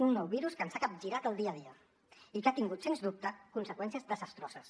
un nou virus que ens ha capgirat el dia a dia i que ha tingut sens dubte conseqüències desastroses